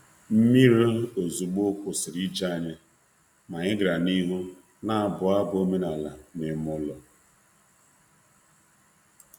Nmiri ozuzo ana-atụghị anya kwụsịrị njem anyị, ma anyị bidokwara na-abụ abụ ọdịnala n'ime abụ ọdịnala n'ime ụlọ.